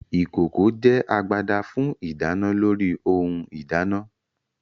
Ìkòkò jẹ́ agbada fún ìdáná lórí ohun ìdáná